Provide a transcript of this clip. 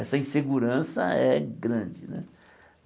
Essa insegurança é grande né.